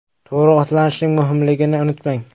To‘g‘ri ovqatlanishning muhimligini unutmang.